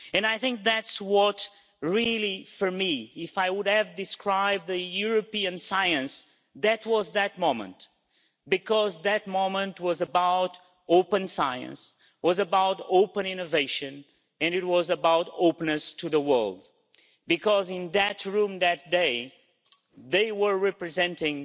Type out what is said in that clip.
I think that, for me, if I could have described European science it was that moment. Because that moment was about open science, about open innovation, and about openness to the world in that room that day, they were representing